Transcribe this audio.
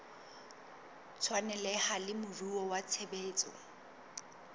tshwaneleha le moruo wa tshebetso